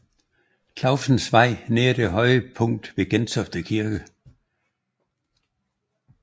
Clausens Vej nær det høje punkt ved Gentofte Kirke